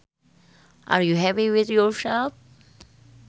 Are you happy with yourself